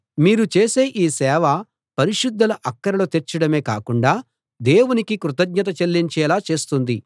మీరు చేసే ఈ సేవ పరిశుద్ధుల అక్కరలు తీర్చడమే కాకుండా దేవునికి కృతజ్ఞత చెల్లించేలా చేస్తుంది